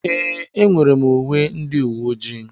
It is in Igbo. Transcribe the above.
Ee, enwere m uwe ndị uwe ojii.